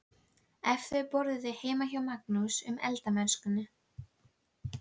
Ef þau borðuðu heima sá Magnús um eldamennskuna.